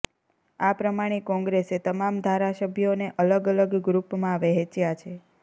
આ પ્રમાણે કોંગ્રેસે તમામ ધારાસભ્યોને અલગ અલગ ગ્રુપમાં વહેંચ્યા છે